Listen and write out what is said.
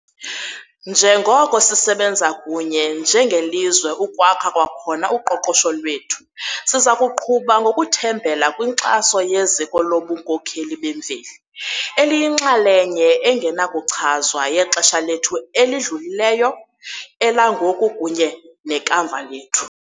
Njengoko sisebenza kunye njengelizwe ukwakha kwakhona uqoqosho lwethu, sizakuqhuba ngokuthembela kwinkxaso yeziko lobunkokheli bemveli, eliyinxalenye engenakuchazwa yexesha lethu elidlulileyo, elangoku kunye nekamva lethu.